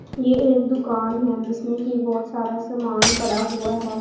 ये एक दुकान हैं जिसमें की बहोत सारा समान पड़ा हुवा हैं।